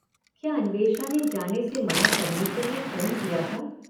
क्या अन्वेषा ने जाने से मना करने के लिए फोन किया था –?